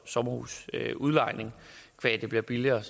sommerhusudlejningen qua det bliver billigere